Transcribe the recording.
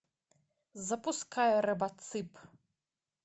запускай робоцып